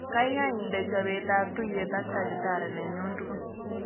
Gaigai iinde chobeetab tuuyeet ak tagitari nenyun tugul